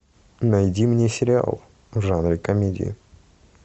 найди мне сериал в жанре комедии